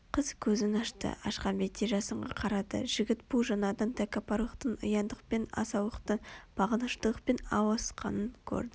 Қыз көзін ашты ашқан бетте жасынға қарады жігіт бұл жанардан тәкаппарлықтың ұяңдықпен асаулықтың бағыныштылықпен ауысқанын көрді